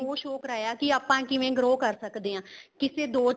ਉਹ show ਕਰਾਇਆ ਕੀ ਆਪਾਂ ਕਿਵੇਂ grow ਕਰ ਸਕਦੇ ਹਾਂ ਕਿਸੇ ਦੋ ਚੀਜ਼ਾਂ